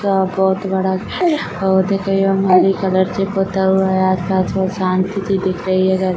पौधा बहुत बड़ा पौधे यह मौली कलर से पोता हुआ है आसपास बहुत शांति सी दिख रही है।